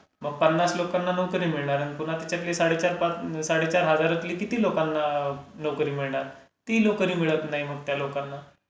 मग पन्नास लोकांना नोकरी मिळणार आणि पुन्हा त्याच्यातले साडे चार... साडेचार हजार लोकांना किती नोकरी मिळणार? ती नोकरी मिळत नाही मग त्या लोकांना.